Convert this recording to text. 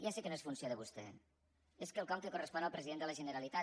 ja sé que no és funció de vostè és quelcom que correspon al president de la generalitat